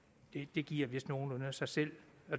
det giver vist nogenlunde sig selv